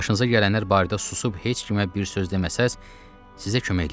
Başınıza gələnlər barədə susub heç kimə bir söz deməsəz, sizə kömək eləyərəm.